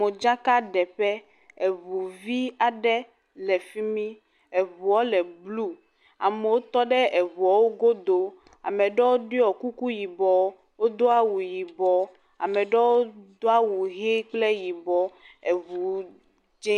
..dzakaɖeƒe, eŋu vi aɖe le fi mi, eŋuɔ le blu, amo tɔ ɖe eŋuɔ wo godo, ame ɖɔo ɖiɔ kuku yibɔ, wodo awu yibɔ, ame ɖɔo do awu ʋi kple yibɔ, eŋu dz0…